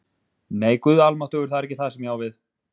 Nei, Guð almáttugur, það er ekki það sem ég á við